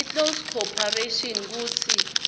iclose corporation kutsi